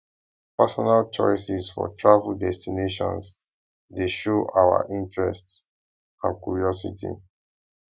personal choices for travel destinations dey show our interests and curiosity